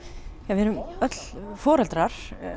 við erum öll foreldrar